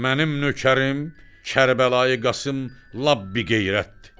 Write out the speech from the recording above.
“Mənim nökərim Kərbəlayı Qasım lap biqeyrətdir.